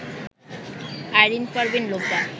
Irin Parveen Lopa